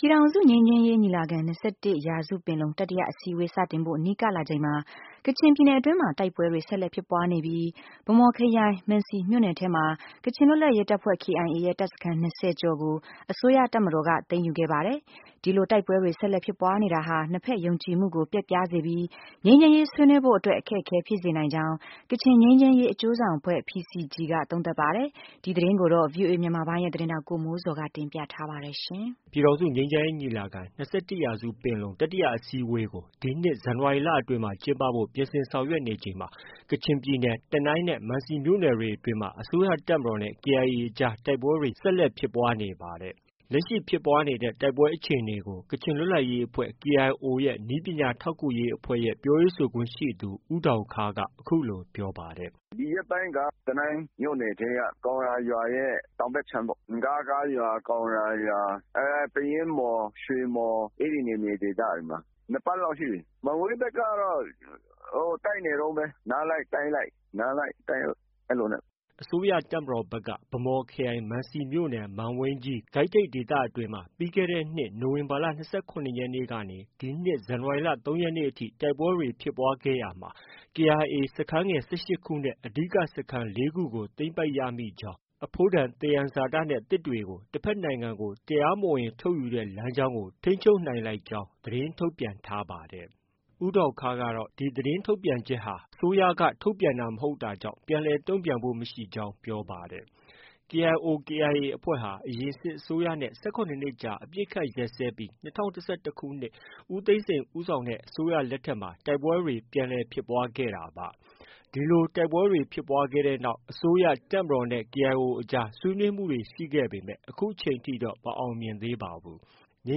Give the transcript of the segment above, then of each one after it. ပြည်ထောင်စုငြိမ်းချမ်းရေးညီလာခံ- ၂၁ရာစုပင်လုံ တတိယအစည်းအဝေးစတင်ဖို့ နီးကပ်လာချိန်မှာ ကချင် ပြည်နယ်အတွင်းမှာ တိုက်ပွဲတွေ ဆက်လက်ဖြစ်ပွားနေပြီး ဗန်းမော်ခရိုင် မန်စီမြို့နယ်ထဲမှာ ကချင် လွတ်လပ်ရေး တပ်ဖွဲ့ KIA ရဲ့ တပ်စခန်း ၂၀ကျော်ကို အစိုးရတပ်မတော်က သိမ်းယူခဲ့ပါတယ်။ ဒီလို တိုက်ပွဲတွေ ဆက်လက်ဖြစ်ပွားနေတာဟာ နှစ်ဖက် ယုံကြည်မှုကို ပျက်ပြားစေပြီး ငြိမ်းချမ်းရေးဆွေးနွေးဖို့အတွက် အခက်အခဲဖြစ်စေနိုင်ကြောင်း ကချင်ငြိမ်းချမ်းရေးအကျိုးဆောင်အဖွဲ့ PCG က သုံးသပ်ပါတယ်။ ဒီသတင်းကို ဗွီအိုအေမြန်မာပိုင်းရဲ့သတင်းထောက် ကိုမိုးဇော်က တင်ပြထားပါတယ်။ ပြည်ထောင်စုငြိမ်းချမ်းရေးညီလာခံ- ၂၁ရာစုပင်လုံ တတိယအစည်းအဝေးကို ဒီနှစ် ဇန်နဝါရီလအတွင်းမှာ ကျင်းပဖို့ ပြင်ဆင်ဆောင်ရွက်နေချိန်မှာ ကချင်ပြည်နယ် တနိုင်းနဲ့ မံစီမြို့နယ်တွေအတွင်းမှာ အစိုးရတပ်မတော်နဲ့ KIA အကြား တိုက်ပွဲတွေ ဆက်လက်ဖြစ်ပွားနေတာဖြစ်ပါတယ်။ လက်ရှိဖြစ်ပွားနေတဲ့ တိုက်ပွဲအခြေအနေကို ကချင်လွတ်လပ်ရေးအဖွဲ့ KIO ရဲ့ နည်းပညာထောက်ကူရေးအဖွဲ့ ပြောရေးဆိုခွင့်ရှိသူ ဦးဒေါင်ခါးက အခုလို ပြောပါတယ်။ "ဒီရက်ပိုင်းက တနိုင်းမြို့နယ် မှာရှိတဲ့ ကောင်ရာ ရွာတောင်ဘက်အခြမ်းပေါ့ ပယင်းမှော်၊ ရွှေမှော် အဲဒီဒေသတွေမှာ ၂ ပတ်လောက်ရှိပြီ။ မံဝိန်းဘက်ကတော့ တိုက်နေတုန်းပဲ နားလိုက်တိုက်လိုက်နဲ့ အဲလိုပဲ။" အစိုးရတပ်မတော်ဖက်ကတော့ ဗန်းမော်ခရိုင်၊ မံစီမြို့နယ်၊ မံဝိန်းကြီး- ကိုက်ထိပ်ဒေသအတွင်းမှာ ပြီးခဲ့တဲ့နှစ် နိုဝင်ဘာလ ၂၇ရက်နေ့ကနေ ဒီနှစ်ဇန်နဝါရီလ ၃ရက်နေ့အထိ တိုက်ပွဲဖြစ်ပွားခဲ့ရာမှာ KIA စခန်းငယ် ၁၈ခုနဲ့ အဓိက စခန်း ၄ခုကို သိမ်းပိုက်ရမိကြောင်း၊ အဖိုးတန်သံယံဇာတနဲ့ သစ်တွေကို တဖက်နိုင်ငံကို တရားမဝင် ထုတ်ယူတဲ့ လမ်းကြောင်းကို ထိန်းချုပ်နိုင်လိုက်နိုင်ကြောင်း သတင်းထုတ်ပြန်ထားပါတယ်။ ဦးဒေါင်ခါးကတော့ ဒီသတင်းထုတ်ပြန်ချက်ဟာ အစိုးရက ထုတ်ပြန်တာမဟုတ်တာကြောင့် ပြန်လည် တုံ့ပြန်ဖို့ မရှိကြောင်း ပြောပါတယ်။ KIO/KIA အဖွဲ့ဟာ အရင် စစ်အစိုးရနဲ့ ၁၇နှစ်ကြာ အပစ်အခတ်ရပ်စဲခဲ့ပြီး ၂၀၁၁ခုနှစ် ဦးသိန်းစိန်ဦးဆောင်တဲ အစိုးရလက်ထက်မှာ တိုက်ပွဲတွေ ပြန်လည်ဖြစ်ပွားခဲ့တာဖြစ်ပါတယ်။ ဒီလို တိုက်ပွဲတွေဖြစ်ပွားပြီးနောက် အစိုးရ၊ တပ်မတော်နဲ့ KIO အကြားဆွေးနွေးမှုတွေရှိခဲ့ပေမဲ့ အခုအချိန်ထိတော့ မအောင်မြင်သေးပါဘူး။ ငြိ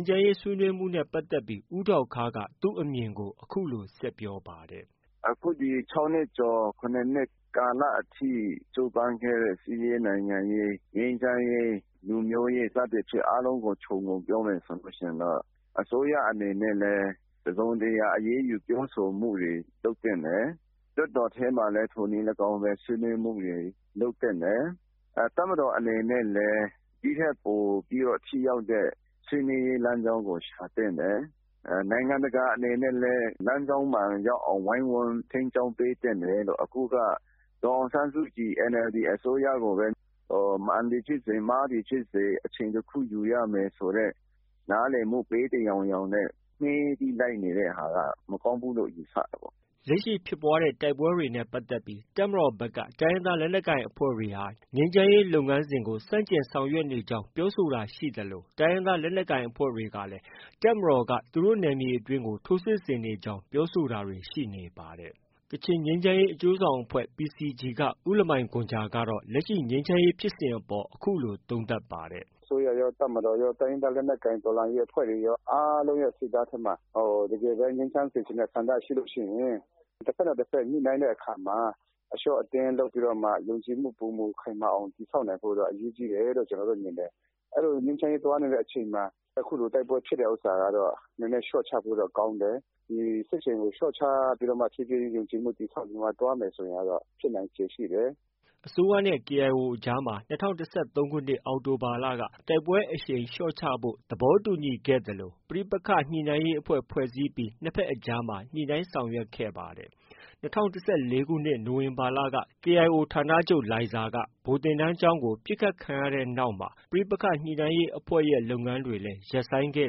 မ်းချမ်းရေးဆွေးနွေးမှုနဲ့ပတ်သက်ပြီး ဦးဒေါင်ခါးက သူ့အမြင်ကို အခုလို ဆက်ပြောပါတယ်။ "အခုဒီ ၆ နှစ်ကျော် - ၇ နှစ်ကာလအထိ ကြိုးပမ်းခဲ့တဲ့ စစ်ရေး၊ နိုင်ငံရေး၊ ငြိမ်းချမ်းရေး၊ လူမျိုးရေး စသဖြင့်အားလုံးကို ခြုံပြီးတော့ ပြောမယ်ဆိုရင် အစိုးရအနေနဲ့လည်း တစုံတရာ အရေးယူပြောဆိုမှုတွေ လုပ်သင့်တယ်၊ လွှတ်တော်ထဲမှာလည်း ထိုနည်းလည်းကောင်းပဲ ဆွေးနွေးမှုတွေလုပ်သင့်တယ်။ တပ်မတော်အနေနဲ့လည်း ဒီထက်ပိုပြီးတော့ ထိရောက်တဲ့ ဆွေးနွေးရေးလမ်းကြောင်းကို ရှာသင့်တယ်။ နိုင်ငံတကာအနေနဲ့လည်း လမ်းကြောင်းမှန်ရောက်အောင် ဝိုင်းဝန်းထိန်းကျောင်းပေးသင့်တယ်လို့ အခုက ဒေါ်အောင်ဆန်းစုကြည် NLD အစိုးရကိုပဲ မှန်သည်ဖြစ်စေ၊ မှားသည်ဖြစ်စေ အချိန် ၁ ခုယူရမယ်ဆိုတဲ့ နားလည်မှု ပေးသယောင်ယောင်နဲ့ မှေးပြီးလိုက်နေတာမကောင်းဘူးလို့ ယူဆတယ်ပေါ့။" လက်ရှိဖြစ်ပွားတဲ့တိုက်ပွဲတွေနဲ့ပတ်သက်ပြီး တပ်မတော်ဖက်က တိုင်းရင်းသားလက်နက်ကိုင်အဖွဲ့တွေဟာ ငြိမ်းချမ်းရေးလုပ်ငန်းစဉ်ကို ဆန့်ကျင်ဆောင်ရွက်နေကြောင်း ပြောဆိုတာရှိသလို တိုင်းရင်းသား လက်နက်ကိုင် အဖွဲ့တွေကလည်း တပ်မတော်က သူတို့ နယ်မြေအတွင်း ထိုးစစ်ဆင်နေကြောင်း ပြောဆိုတာတွေ ရှိနေပါတယ်။ ကချင်ငြိမ်းချမ်းရေးအကျိုးဆောင်အဖွဲ့ PCG က ဦးလမိုင်ဂွမ်ဂျာကတော့ လက်ရှိ ငြိမ်းချမ်းရေးဖြစ်စဉ်အပေါ် အခုလို သုံးသပ်ပါတယ်။ "အစိုးရရော၊ တပ်မတော်ရော၊ တိုင်းရင်းသားလက်နက်ကိုင် တော်လှန်ရေးအဖွဲ့တွေရော အားလုံးစိတ်ထဲမှ တကယ်ပဲ ငြိမ်းချမ်းစေချင်တဲ့ ဆန္ဒရှိရင် တဖက်နဲ့ တဖက် ညှိနှိုင်းတဲ့အခါမှာ အလျော့အတင်းလုပ်ပြီးတော့မှ ယုံကြည်မှု ပိုမိုခိုင်မာအောင် တည်ဆောက်နိုင်ဖို့က အရေးကြီးတယ်လို့ ကျနော်တို့မြင်တယ်။ အဲဒီလို ငြိမ်းချမ်းရေးသွားနေတဲ့အချိန်မှာ အခုလို တိုက်ပွဲဖြစ်တာကတော့ နည်းနည်းလျော့ချဖို့တော့ ကောင်းတယ်။ ဒီစစ်ရှိန်ကို လျော့ချပြီးတော့မှ ဖြေးဖြေးချင်းယုံကြည်မှုတည်ဆောက်သွားမယ်ဆိုရင် ဒါကတော့ ဖြစ်နိုင်ခြေရှိတယ်။" အစိုးရနဲ့ KIO အကြားမှာ ၂၀၁၃ အောက်တိုဘာလက တိုက်ပွဲအရှိန်လျော့ချဖို့ သဘောတူညီခဲ့သလို ပဋိက္ခညှိနှိုင်းရေးအဖွဲ့ ဖွဲ့စည်းပြီး နှစ်ဖက်အကြား ညှိနှိုင်းခဲ့ပါတယ်။ ၂၀၁၄ခုနှစ် နိုဝင်ဘာလက KIO ဌာနချုပ် လိုင်ဇာက ဗိုလ်သင်တန်းကျောင်း ပစ်ခတ်ခံရပြီးတဲ့နောက်မှာ ပဋိက္ခညှိနှိုင်းရေးအဖွဲ့လုပ်ငန်းတွေ ရပ်ဆိုင်းခဲ့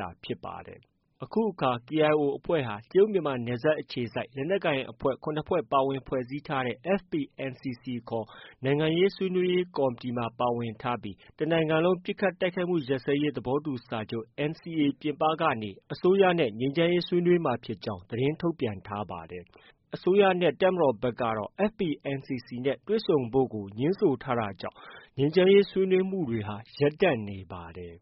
တာ ဖြစ်ပါတယ်။ အခုအခါ KIO အဖွဲ့ဟာ တရုတ်မြန်မာနယ်စပ်အခြေစိုက် လက်နက်ကိုင်အဖွဲ့ ၇ဖွဲ့ပါဝင်ဖွဲ့စည်းထားတဲ့ FPNCC ခေါ် နိုင်ငံရေးဆွေးနွေးရေးကော်မတီမှာ ပါဝင်ထားပြီး အစိုးရနဲ့ တနိုင်ငံလုံးပစ်ခတ်တိုက်ခိုက်မှု ရပ်စဲရေး သဘောတူ စာချုပ် NCA ပြင်ပကနေ ငြိမ်းချမ်းရေးဆွေးနွေးမှာဖြစ်ကြောင်း သတင်းထုတ်ပြန်ထားပါတယ်။ အစိုးရ နဲ့ တပ်မတော် ဖက်ကတော့ FPNCC နဲ့ တွေ့ဆုံဖို့ကို ငြင်းဆိုထားကြောင့် ငြိမ်းချမ်းရေးဆွေးနွေးမှုတွေဟာ ရပ်တန့် နေပါတယ်။